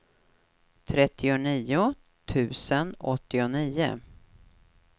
trettionio tusen åttionio